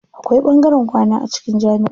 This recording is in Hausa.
Akwai ɓangaren kwana a cikin jamiʼa.